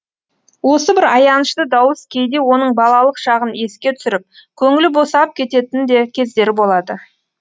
осы бір аянышты дауыс кейде оның балалық шағын еске түсіріп көңілі босап кететін де кездері болады